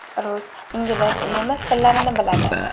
Rus, ingliz, nemis tillarini biladi.